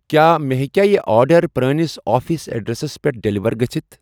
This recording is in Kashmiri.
کیٛاہ مےٚ ہیٚکیٛاہ یہِ آرڈر پرٲنِس آفِس ایڑریسس پٮ۪ٹھ ڈیلیوَر گٔژھتھ؟